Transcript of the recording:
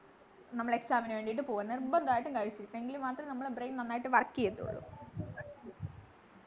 നമ്മള് exam നു വേണ്ടീട്ട പോകു നിർബന്ധയിട്ടും കഴിച്ചു എങ്കിലുമാത്രേ നമ്മളെ brain നന്നായിട്ട് work ചെയ്യുള്ളു